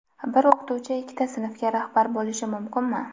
Bir o‘qituvchi ikkita sinfga rahbar bo‘lishi mumkinmi?.